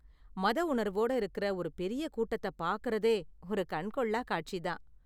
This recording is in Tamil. மத உணர்வோட இருக்குற ஒரு பெரிய கூட்டத்தை பாக்கறதே ஒரு கண்கொள்ளா காட்சி தான்.